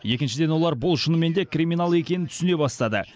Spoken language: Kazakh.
екіншіден олар бұл шынымен де криминал екенін түсіне бастады